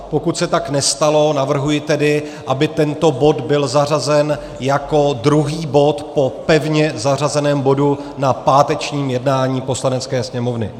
Pokud se tak nestalo, navrhuji tedy, aby tento bod byl zařazen jako druhý bod po pevně zařazeném bodu na pátečním jednání Poslanecké sněmovny.